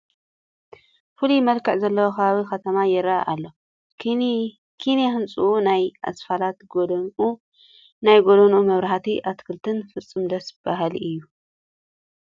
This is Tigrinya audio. ፍሉይ መልክዕ ዘለዎ ከባቢ ከተማ ይርአ ኣሎ፡፡ ኪነ ህንፅኡ፣ ናይ ኣስፋልት ጐደንኡ፣ ናይ ጐደና መብራህቱን ኣትክልቱን ፍፁም ደስ በሃሊ እዩ፡፡